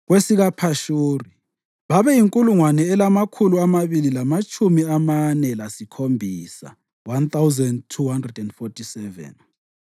kwesikaPhashuri babeyinkulungwane elamakhulu amabili lamatshumi amane lasikhombisa (1,247),